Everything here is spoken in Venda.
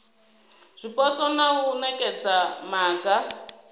zwipotso na u nekedza maga